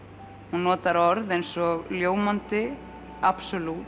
hún notar orð eins og ljómandi